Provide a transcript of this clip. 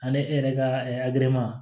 Ani e yɛrɛ ka